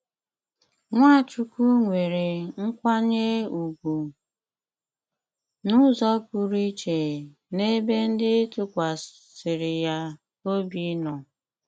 Nwàchùkwù nwèrè nkwànyè ùgwù n’ùzò pụrụ ìchè n’èbè ndị tụkwàsìri yà òbì nò.